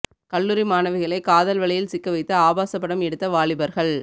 கல்லூரி மாணவிகளை காதல் வலையில் சிக்க வைத்து ஆபாச படம் எடுத்த வாலிபர்கள்